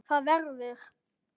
ÞAÐ VERÐUR